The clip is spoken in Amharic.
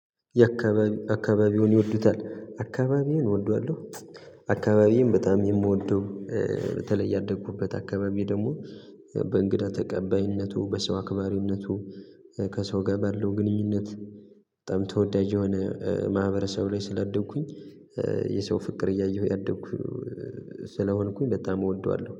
የአካባቢ አካባቢዎን ይወዱታል? አካባቢዬን እወደዋለሁ አካባቢዬን በጣም የምወደው በተለይ ያደኩበት አካባቢ ደግሞ በእንግዳ ተቀባይነቱ በሰው አክባሪነቱ ከሰው ጋ ባለው ግንኙነት ጠም ተወዳጅ የሆነ ማህበረሰብ ላይ ስለደብኩኝ የሰው ፍቅር እያየሁ ያደኩት ስለሆንኩኝ በጣም እወደዋለሁ